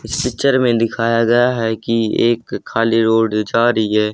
इस पिक्चर में दिखाया गया है कि एक खाली रोड जा रही है।